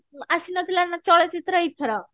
ଆସିନଥିଲା ନା ଚଳଚିତ୍ର ଏଇଥର